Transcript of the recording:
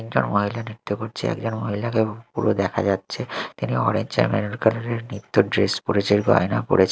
একজন মহিলা নৃত্য করছে একজন মহিলাকে পুরো দেখা যাচ্ছে তিনি অরেঞ্জ আর মেরুন কালার -এর নৃত্যের ড্রেস পরেছেন গয়না পরে--